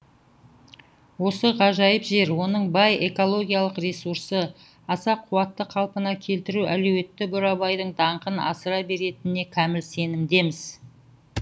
осы ғажайып жер оның бай экологиялық ресурсы аса қуатты қалпына келтіру әлеуеті бурабайдың даңқын асыра беретініне кәміл сенімдеміз